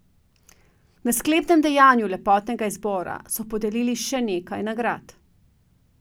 Na sklepnem dejanju lepotnega izbora so podelili še nekaj nagrad.